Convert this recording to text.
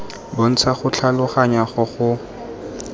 bontsha go tlhaloganya go go